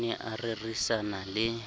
o ne a rerisana le